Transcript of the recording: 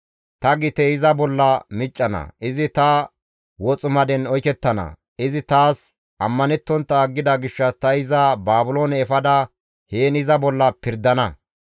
Ta gite iza bolla miccana; izi ta woximaden oykettana; izi taas ammanettontta aggida gishshas ta iza Baabiloone efada heen iza bolla pirdana.